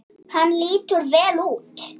Hann lítur vel út